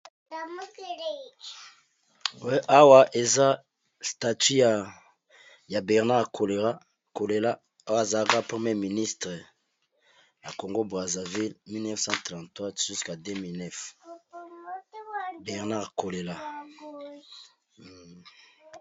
Awa eza statut ya bernard kolela kolela awa azalaka premier ministre na congo brazzaville 1934 jusqu'à 2009 bernard kolela.